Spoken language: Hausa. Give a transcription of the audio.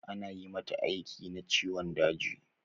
Anyi mata aiki na ciwon daji